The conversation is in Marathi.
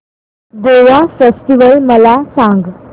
गोवा फेस्टिवल मला सांग